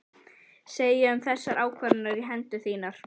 Segja um þessar ákvarðanir á hendur þínar?